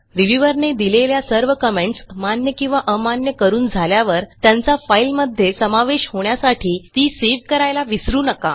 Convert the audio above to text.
reviewer ने दिलेल्या सर्व कमेंट्स मान्य किंवा अमान्य करून झाल्यावर त्यांचा फाईलमध्ये समावेश होण्यासाठी ती सेव्ह करायला विसरू नका